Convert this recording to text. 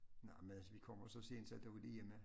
Nej men altså vi kommer jo så sent så der var de hjemme